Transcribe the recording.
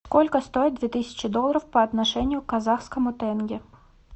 сколько стоит две тысячи долларов по отношению к казахскому тенге